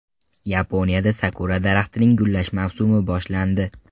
Yaponiyada sakura daraxtining gullash mavsumi boshlandi.